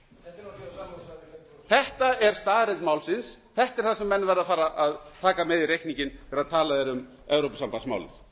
er náttúrlega þetta er staðreynd málsins þetta er það sem menn verða að fara að taka með í reikninginn þegar talað er um evrópusambandsmálið